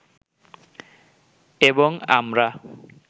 এবং আমরা